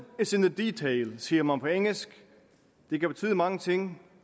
is in the detail siger man på engelsk det kan betyde mange ting